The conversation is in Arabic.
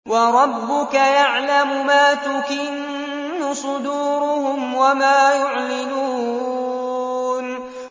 وَرَبُّكَ يَعْلَمُ مَا تُكِنُّ صُدُورُهُمْ وَمَا يُعْلِنُونَ